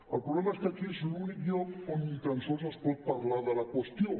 el problema és que aquí és l’únic lloc on ni tan sols es pot parlar de la qüestió